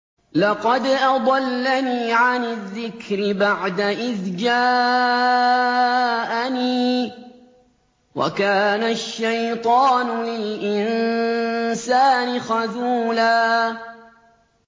لَّقَدْ أَضَلَّنِي عَنِ الذِّكْرِ بَعْدَ إِذْ جَاءَنِي ۗ وَكَانَ الشَّيْطَانُ لِلْإِنسَانِ خَذُولًا